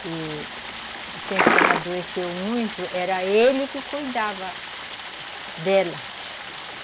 que o tempo que ela adoeceu muito, era ele que cuidava dela.